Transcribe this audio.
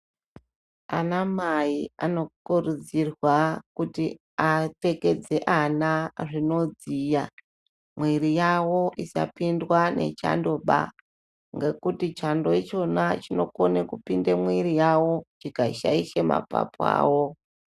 Ana mai anokurudzirwa kuti apfekedze ana zvinodziya, mwiri yawo isapindwa nechandoba, ngekuti chando ichona chinokone kupinda mumwiri yawo chikashaishe mapapu awo.